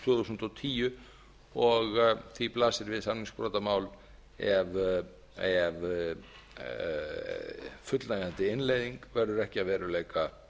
þúsund og tíu og því blasir við samningsbrotamál ef fullnægjandi innleiðing verður ekki fljótlega að veruleika